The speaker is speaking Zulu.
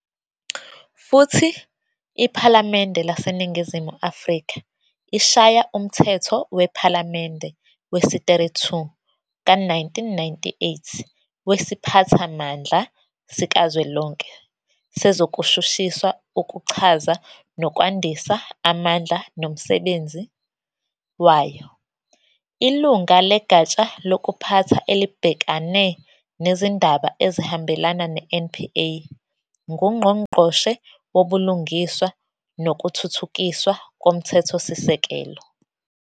Futhi, iPhalamende laseNingizumu Afrika ishaya Umthetho wePhalamende wesi-32 ka-1998 weSiphathamandla sikaZwelonke sezokuShushiswa ukuchaza nokwandisa amandla nomsenbenzi wayo. Ilunga legatsha lokuphatha elibhekane nezindaba ezihambelana ne-NPA nguNgqongqoshe woBulungiswa nokuThuthukiswa koMthethosisekelo.